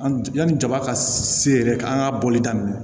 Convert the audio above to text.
An yanni jaba ka se yɛrɛ an ka bɔli daminɛ